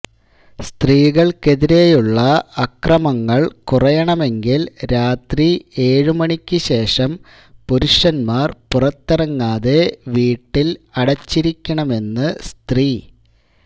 സ്ത്രീകൾക്കെതിരെയുള്ള അക്രമങ്ങൾ കുറയണമെങ്കിൽ രാത്രി ഏഴുമണിക്കു ശേഷം പുരുഷന്മാർ പുറത്തിറങ്ങാതെ വീട്ടിൽ അടച്ചിരിക്കണമെന്ന് സ്ത്രീ